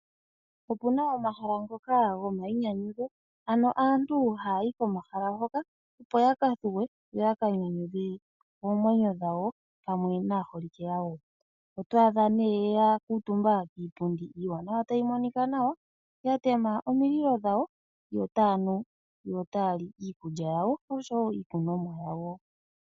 Opuna omahala ngoka gomayinyanyudho asntu haya yiko, opo ya kanyanyudhe oomwenyo dhawo pamwe naakwanezimo yawo. Oto adha aantu taya ne ya kuutumba kiipundi iiwanawa tayi monika nawa ya kundukidha omulilo yo taya li nokunwa.